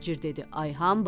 Tacir dedi, ay hambal.